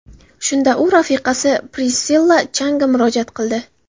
Shunda u rafiqasi Prissilla Changa murojaat qildi.